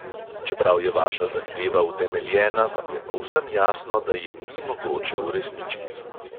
Čeprav je vaša zahteva utemeljena, vam je povsem jasno, da je ni mogoče uresničiti.